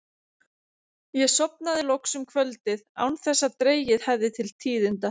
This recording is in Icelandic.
Ég sofnaði loks um kvöldið án þess að dregið hefði til tíðinda.